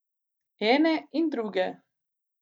Ene in druge!